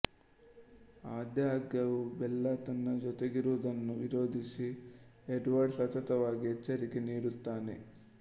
ಆದಾಗ್ಯೂ ಬೆಲ್ಲಾ ತನ್ನ ಜೊತೆಗಿರುವುದನ್ನು ವಿರೋಧಿಸಿ ಎಡ್ವರ್ಡ್ ಸತತವಾಗಿ ಎಚ್ಚರಿಕೆ ನೀಡುತ್ತಾನೆ